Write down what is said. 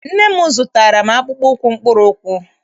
Nne m zụtaara m akpụkpọ ụkwụ mkpụrụụkwụ.